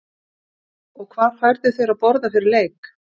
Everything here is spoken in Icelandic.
og hvað færðu þér að borða fyrir leik?